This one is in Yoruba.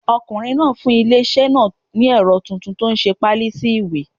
Ọkùnrin náà fún ilé iṣẹ́ náà ní ẹ̀rọ titun tó nse páálí sí ìwé